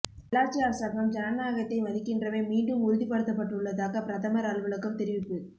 நல்லாட்சி அரசாங்கம் ஜனநாயகத்தை மதிக்கின்றமை மீண்டும் உறுதிப்படுத்தப்பட்டுள்ளதாக பிரதமர் அலுவலகம் தெரிவிப்பு